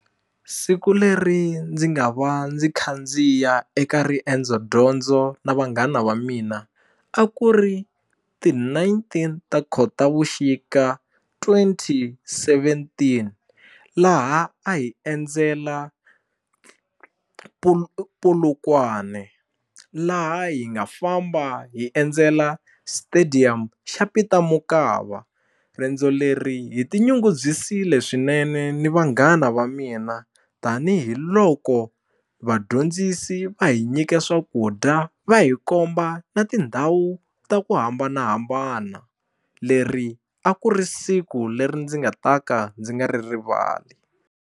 Siku leri ndzi nga va ndzi khandziya eka riendzo dyondzo na vanghana va mina a ku ri ti nineteen ta khotavuxika twenty seventeen laha a hi endzela Polokwane laha hi nga famba hi endzela stadium xa Peter Mokaba riendzo leri hi tinyungubyisile swinene ni vanghana va mina tanihiloko vadyondzisi va hi nyike swakudya va hi komba na tindhawu ta ku hambanahambana leri a ku ri siku leri ndzi nga ta ka ndzi nga ri rivali.